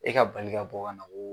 E ka bali ka bɔ kana koo